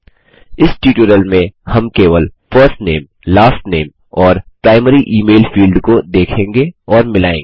इस ट्यूटोरियल में हम केवल फर्स्ट नामे लास्ट नामे और प्राइमरी इमेल फील्ड को देखेंगे और मिलायेंगे